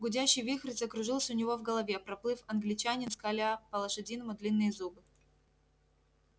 гудящий вихрь закружился у него в голове проплыл англичанин скаля по-лошадиному длинные зубы